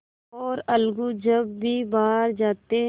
और अलगू जब कभी बाहर जाते